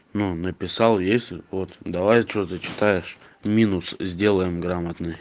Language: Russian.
ну написал есть вот давай что зачитаешь минус сделаем грамотный